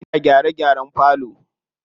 Ina gyare gyaren falo.